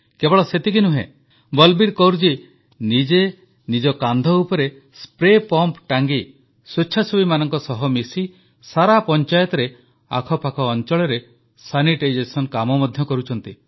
କେବଳ ସେତିକି ନୁହେଁ ବଲବୀର କୌରଜୀ ନିଜେ ନିଜ କାନ୍ଧ ଉପରେ ସ୍ପ୍ରେ ପମ୍ପ ଟାଙ୍ଗି ସ୍ୱେଚ୍ଛାସେବୀମାନଙ୍କ ସହ ମିଶି ସାରା ପଞ୍ଚାୟତରେ ଆଖାପାଖ ଅଂଚଳରେ ସାନିଟାଇଜେସନ୍ କାମ ମଧ୍ୟ କରୁଛନ୍ତି